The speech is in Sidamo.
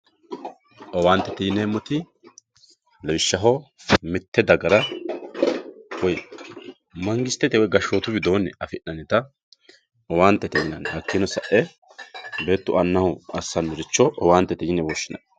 owaantete yineemoti lawishshaho mitte dagara woy mangistete woy gashshootu widooni afi'nannita owaantete yinanni hakiino sa'e beetu annaho assanoricho owaantete yine woshshinanni.